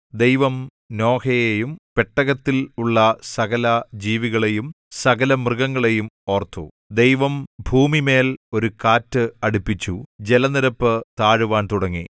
ദൈവം നോഹയെയും പെട്ടകത്തിൽ ഉള്ള സകലജീവികളെയും സകലമൃഗങ്ങളെയും ഓർത്തു ദൈവം ഭൂമിമേൽ ഒരു കാറ്റ് അടിപ്പിച്ചു ജലനിരപ്പ് താഴുവാൻ തുടങ്ങി